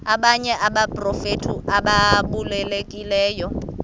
abanye abaprofeti ababalulekileyo